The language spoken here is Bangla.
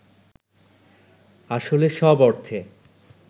আসলে সব অর্থে